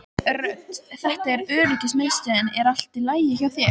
Rödd: Þetta er öryggismiðstöðin er allt í lagi hjá þér?